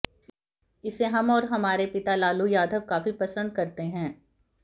इसे हम और हमारे पिता लालू यादव काफी पसंद करते हैं